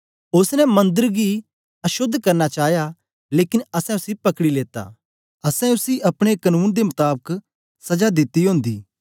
ओसने मंदर गी अशोद्ध करना चाया लेकन असैं उसी पकड़ी लेता असैं उसी अपने कनून दे मताबक सजा दिती ओंदी